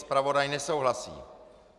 Zpravodaj nesouhlasí.